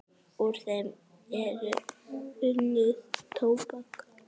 Úr þeim er unnið tóbak.